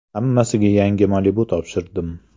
Hammasiga yangi Malibu topshirdim .